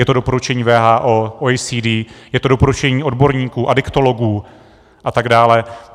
Je to doporučení WHO, OECD, je to doporučení odborníků, adiktologů a tak dále.